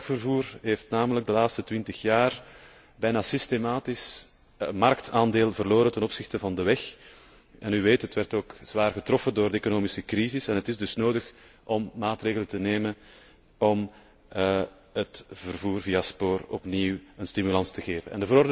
Het vrachtvervoer heeft namelijk de laatste twintig jaar bijna systematisch marktaandeel verloren ten opzichte van de weg en het werd ook zwaar getroffen door de economische crisis. Het is dus nodig om maatregelen te nemen om het vervoer via spoor opnieuw een stimulans te geven.